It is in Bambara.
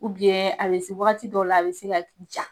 a bɛ se wagati dɔw la a bɛ se ka ja .